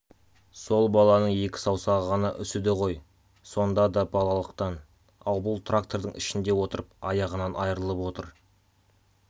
сол баланың екі саусағы ғана үсіді ғой сонда да балалықтан ал бұл трактордың ішінде отырып аяғынан айрылып отыр